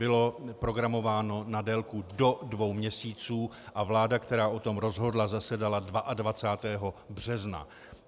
Bylo programováno na délku do dvou měsíců a vláda, která o tom rozhodla, zasedala 22. března.